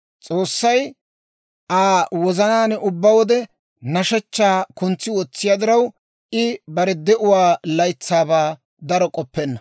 S'oossay Aa wozanaan ubbaa wode nashshechchaa kuntsi wotsiyaa diraw, I bare de'uwaa laytsaabaa daro k'oppenna.